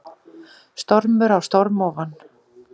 Stormur á storm ofan